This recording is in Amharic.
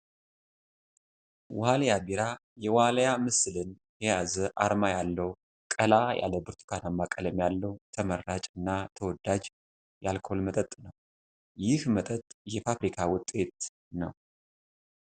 ዋሊያ ቢራ የዋልያ ምስልን የያዘ አርማ ያለው ቀላ ያለ ብርቱካናማ ቀለም ያለው ተመራጭ እና ተወዳጅ የአልኮል መጠጥ ነው። ይህ መጠጥ የፋብሪካ ውጤት ነው።